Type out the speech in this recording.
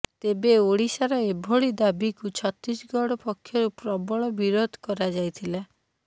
ତେବେ ଓଡ଼ିଶାର ଏଭଳି ଦାବିକୁ ଛତିଶଗଡ଼ ପକ୍ଷରୁ ପ୍ରବଳ ବିରୋଧ କରାଯାଇଥିଲା